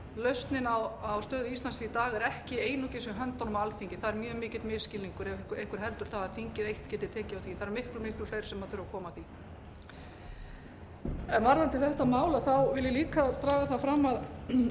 lausnin á stöðu íslands í dag er ekki einungis í höndunum á alþingi það er mjög mikill misskilningur ef einhver heldur það að þingið eitt geti tekið á því það eru miklu miklu fleiri sem þurfa að koma að því varðandi þetta mál vil ég líka draga það fram að